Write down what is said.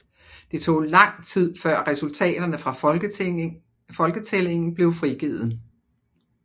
Det tog langt tid før resultaterne fra foketællingen blev frigivet